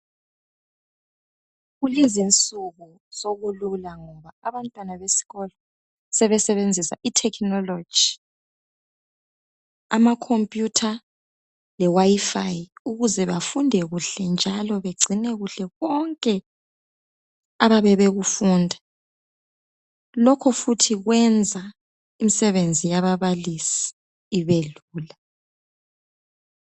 Kulezinsuku sokulula abantwana besikolo sebesebenzisa ithekhinoloji, amakhompiyutha lewayifayi ukuze bafunde kuhle njalo bagcine kuhle konke abayabe bekufunda lokho futhi kwenza imisebenzi yababalisi ibelula.